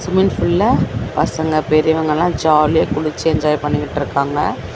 Swimming ஃபூல்ல பசங்க பெரியவங்கல்லா ஜாலியா குளிச்சு என்ஜாய் பண்ணிகிட்ருக்காங்க.